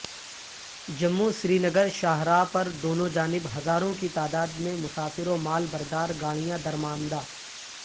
جموں سرینگرشاہرا پر دونوں جانب ہزاروں کی تعداد میں مسافرو مال بردار گاڑیاں درماندہ